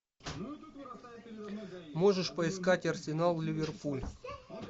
можешь поискать арсенал ливерпуль